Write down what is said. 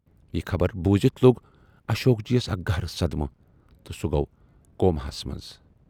یہِ خبر بوٗزِتھ لوگ اشوک جی یَس اکھ گہرٕ صدمہٕ تہٕ سُہ گَو کوماہس منز۔